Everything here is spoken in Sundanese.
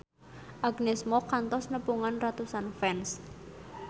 Agnes Mo kantos nepungan ratusan fans